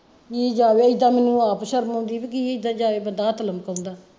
ਕੀ ਜਾਵੇ ਏਦਾਂ ਮੈਨੂੰ ਆਪ ਸ਼ਰਮ ਆਉਂਦੀ ਆ ਬੀ ਕੀ ਏਦਾਂ ਜਾਵੇ ਬੰਦਾ ਹੱਥ ਲਮਕਾਉਂਦਾ।